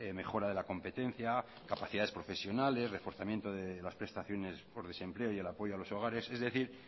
mejora de la competencia capacidades profesionales reforzamiento de las prestaciones por desempleo y el apoyo a los hogares es decir